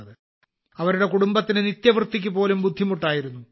അവരുടെ കുടുംബത്തിന് നിത്യവൃത്തിക്ക് പോലും ബുദ്ധിമുട്ടായിരുന്നു